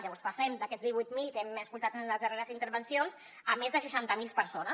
llavors passem d’aquests divuit mil que hem sentit en les darreres intervencions a més de seixanta mil persones